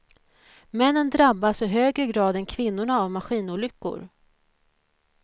Männen drabbas i högre grad än kvinnorna av maskinolyckor.